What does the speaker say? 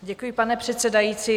Děkuji, pane předsedající.